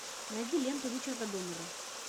найди ленту ричарда доннера